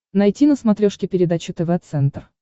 найти на смотрешке передачу тв центр